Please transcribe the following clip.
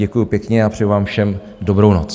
Děkuju pěkně a přeju vám všem dobrou noc.